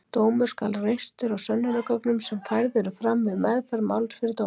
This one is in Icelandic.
Dómur skal reistur á sönnunargögnum sem færð eru fram við meðferð máls fyrir dómi.